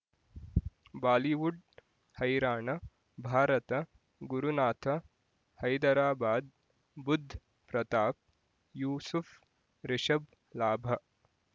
Bollywood ಹೈರಾಣ ಭಾರತ ಗುರುನಾಥ ಹೈದರಾಬಾದ್ ಬುಧ್ ಪ್ರತಾಪ್ ಯೂಸುಫ್ ರಿಷಬ್ ಲಾಭ